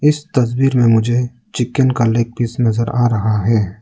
इस तस्वीर में मुझे चिकेन का लेग पीस नजर आ रहा है।